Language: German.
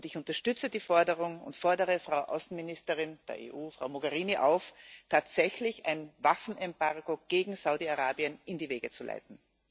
Ich unterstütze die Forderung und fordere die Außenministerin der EU, Frau Mogherini, auf, tatsächlich ein Waffenembargo gegen Saudi Arabien in die Wege zu leiten.